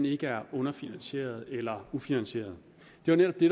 ikke er underfinansieret eller ufinansieret det var netop det